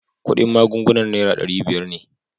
Kudin magungunan naira dari biyar ne.